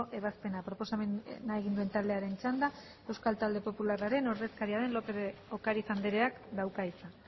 ebazpena proposamena egin duen taldearen txanda euskal talde popularraren ordezkaria den lópez de ocariz andreak dauka hitza